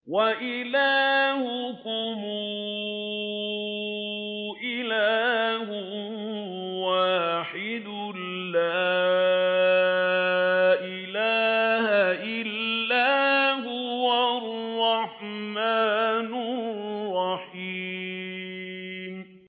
وَإِلَٰهُكُمْ إِلَٰهٌ وَاحِدٌ ۖ لَّا إِلَٰهَ إِلَّا هُوَ الرَّحْمَٰنُ الرَّحِيمُ